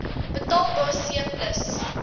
betaalbaar c plus